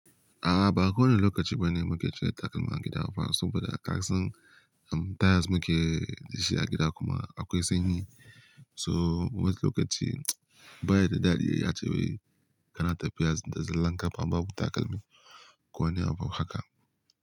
A'a ba kowane lokaci bane muke cire takalman gida ba saboda kasan, um, tires muke da shi a gida kuma akwai sanyi. So wasu lokaci baya da dadi ae wai kana tafiya da zallon ƙafa babu takalmi. Ko wani abu haka.